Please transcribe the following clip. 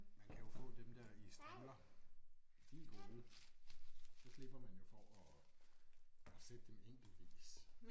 Man kan jo få dem der i strimler de er gode. Så slipper man jo for at at sætte dem enkeltvis